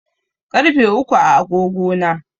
Ƙarfe uku a agogo na.